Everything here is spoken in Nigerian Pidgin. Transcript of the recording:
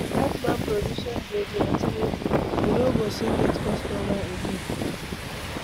Dat man provision dey dey expensive. He no go soon get customer again.